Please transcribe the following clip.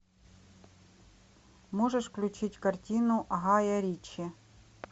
можешь включить картину гая ричи